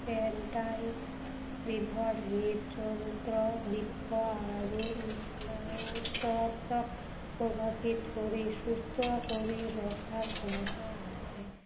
peptide বিধৰ হৃদযন্ত্ৰ, বৃক্ক আৰু স্নায়ু তন্ত্ৰক প্ৰভাৱিত কৰি সুস্থ কৰি ৰখাৰ ক্ষমতা আছে।